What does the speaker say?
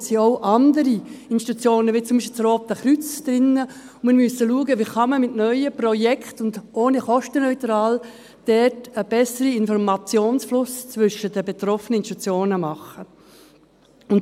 Im Migrationshintergrund sind auch andere Institutionen, wie zum Beispiel das Rote Kreuz drin, und wir müssen schauen, wie man dort mit neuen Projekten und kostenneutral einen besseren Informationsfluss zwischen den betroffenen Institutionen machen kann.